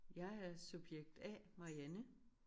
Jeg er subjekt A Marianne